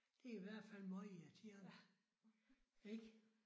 Det i hvert fald møgirriterende. Ik?